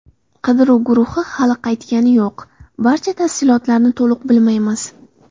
Qidiruv guruhi hali qaytgani yo‘q, barcha tafsilotlarni to‘liq bilmaymiz.